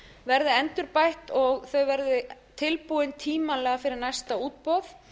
verði endurbætt og þau verði tilbúin tímanlega fyrir næsta útboð